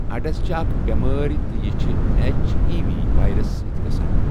اڈس چھ اَکھ بؠمٲری یہِ چھ ایچ ای وی وایرس سٟتؠ گھسان۔